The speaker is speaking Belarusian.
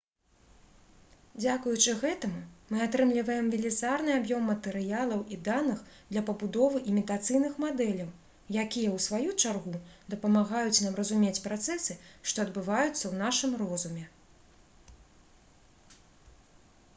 дзякуючы гэтаму мы атрымліваем велізарны аб'ём матэрыялаў і даных для пабудовы імітацыйных мадэляў якія у сваю чаргу дапамагаюць нам разумець працэсы што адбываюцца ў нашым розуме